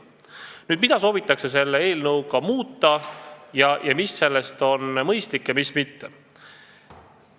Nüüd, mida soovitakse selle eelnõuga muuta ning mis sellest on mõistlik ja mis mitte?